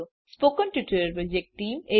spoken tutorial project team